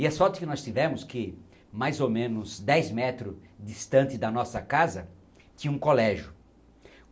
E as fotos que nós tivemos, que mais ou menos dez metros distante da nossa casa, tinha um colégio.